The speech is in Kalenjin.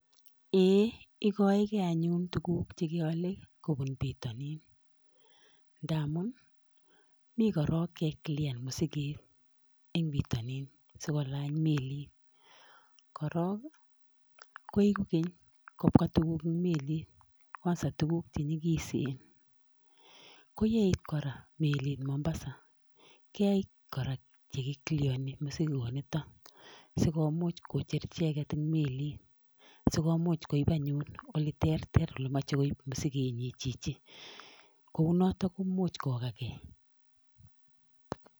Ee igoeke anyun tuguk che keole kobun bitonin ndamun mi korong ke kliaren mosiget en bitonin asikolany melit. Korong' koiku keny kobwa tuguk melit kwanza tuguk che nyigisen. Ko yeit kora melit Mombasa, keit kora che kicleareni mosigonito, sigomuch kocher icheget en melit, sigomuch koib anyun ole terter ole mache koib mosigenyin chichi. Kounoto koimuchh kogakee.